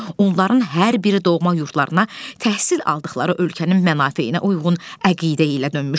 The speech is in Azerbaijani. Onların hər biri doğma yurdlarına təhsil aldıqları ölkənin mənafeyinə uyğun əqidə ilə dönmüşdülər.